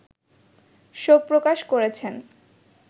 শোক প্রকাশ করেছেন